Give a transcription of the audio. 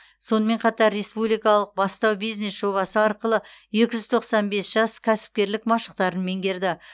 сонымен қатар республикалық бастау бизнес жобасы арқылы екі жүз тоқсан бес жас кәсіпкерлік машықтарын меңгерді